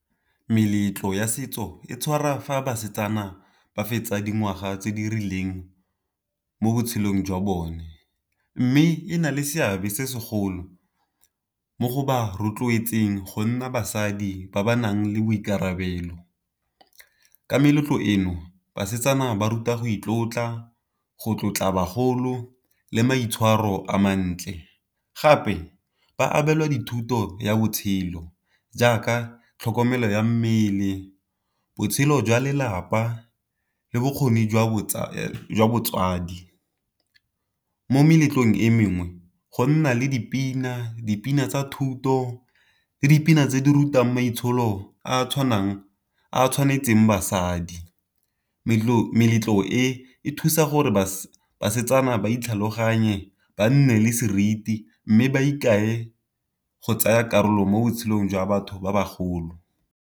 Meletlo ya setso e tshwarwa fa basetsana ba fetsa dingwaga tse di rileng, mo botshelong jwa bone. Mme e na le seabe se segolo mo go ba rotloetseng go nna basadi ba ba nang le boikarabelo. Ka meletlo eno basetsana ba rutwa go itlotla go tlotla bagolo, le maitshwaro a mantle. Gape ba abelwa dithuto ya botshelo jaaka tlhokomelo ya mmele, botshelo jwa lelapa, le bokgoni jwa botsadi. Mo meletlong e mengwe go nna le dipina, dipina tsa thuto le dipina tse di rutang maitsholo a a tshwanang a tshwanetseng basadi. Meletlo e thusa gore basetsana ba itlhaloganye, ba nne le seriti, mme ba ikae go tsaya karolo mo botshelong jwa batho ba bagolo.